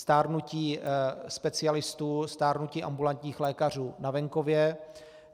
Stárnutí specialistů, stárnutí ambulantních lékařů na venkově.